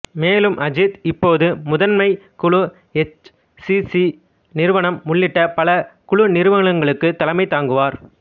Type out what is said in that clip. மேலும் அஜித் இப்போது முதன்மை குழு எச் சி சி நிறுவனம் உள்ளிட்ட பல குழு நிறுவனங்களுக்கு தலைமை தாங்குகிறார்